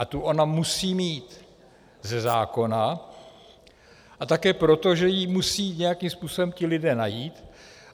A tu ona musí mít ze zákona a také proto, že ji musí nějakým způsobem ti lidé najít.